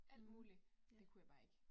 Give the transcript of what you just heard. Mh, ja